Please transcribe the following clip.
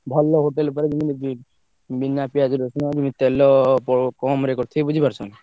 ଭଲ hotel ପୁରା ଯେମିତି କି ବିନା ପିଆଜ୍ ରସୁଣ ତେଲ କମ୍ ରେ କରିଥିବେ ବୁଝି ପାରୁଛ ନା।